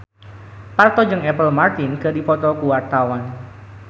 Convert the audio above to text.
Parto jeung Apple Martin keur dipoto ku wartawan